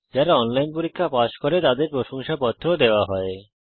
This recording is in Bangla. যারা অনলাইন পরীক্ষা পাস করে তাদের প্রশংসাপত্র সার্টিফিকেট ও দেওয়া হয়